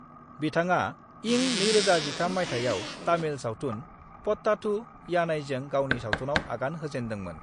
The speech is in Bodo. बिथाङा इं 2013 माइथायाव तामिल सावथुन पट्टाथु यानाईजों गावनि सावथुनाव आगान होजेन्दोंमोन।